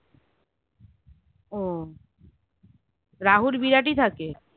ও রাহুল বিরাট এ থাকে